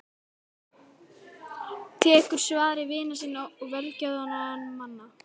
Tekur svari vina sinna og velgjörðamanna.